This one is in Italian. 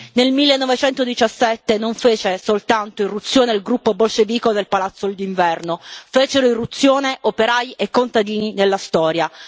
Nel 1917 non fece soltanto irruzione il gruppo bolscevico nel Palazzo d'inverno, fecero irruzione operai e contadini nella storia.